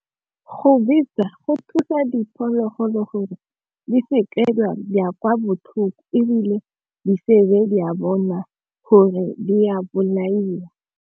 Go betsa go thusa diphologolo gore di seke di a botlhoko ebile di sebe di a bona gore di a bolaiwa.